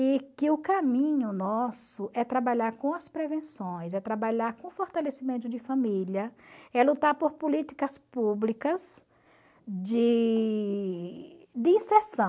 e que o caminho nosso é trabalhar com as prevenções, é trabalhar com o fortalecimento de família, é lutar por políticas públicas de inserção.